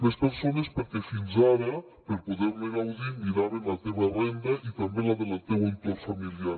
més persones perquè fins ara per poder ne gaudir miraven la teva renda i també la del teu entorn familiar